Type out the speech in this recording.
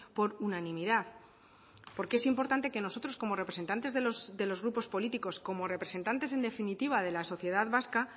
por unanimidad porque es importante que nosotros como representantes de los grupos políticos como representantes en definitiva de la sociedad vasca